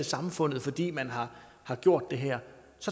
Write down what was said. samfundet fordi man har har gjort det her